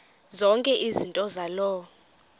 zonke izinto zaloo